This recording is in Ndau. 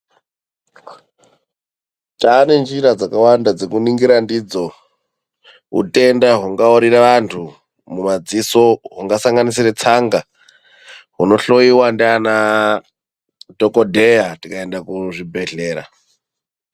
Taa nenjira dzakawanda dzekuningira ndidzo utenda hungaurira antu mumadziso hungasanganisire tsanga hunohloyiwa ndanaadhokodheya tikaenda kuzvibhedhera.